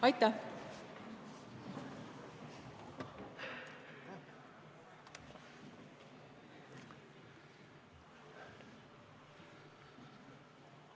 Aitäh!